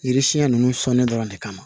Yiri siɲɛ ninnu sɔnnen dɔrɔn de kama